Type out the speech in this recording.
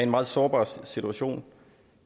meget sårbar situation